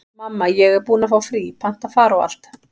Mamma, ég er búin að fá frí, panta far og allt.